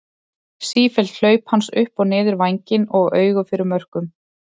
Sífelld hlaup hans upp og niður vænginn og auga fyrir mörkum.